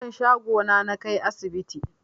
Yaron shago na nakai asibti